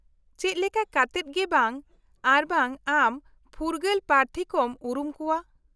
-ᱪᱮᱫ ᱞᱮᱠᱟ ᱠᱟᱛᱮᱫ ᱜᱮ ᱵᱟᱝ ᱟᱨᱵᱟᱝ ᱟᱢ ᱯᱷᱩᱨᱜᱟᱹᱞ ᱯᱨᱟᱨᱛᱷᱤ ᱠᱚᱢ ᱩᱨᱩᱢ ᱠᱚᱣᱟ ?